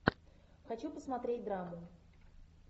хочу посмотреть драму